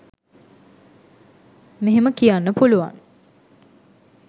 මෙහෙම කියන්න පුළුවන්